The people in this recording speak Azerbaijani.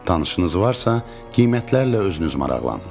Tanışınız varsa, qiymətlərlə özünüz maraqlanın.